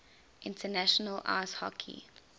international ice hockey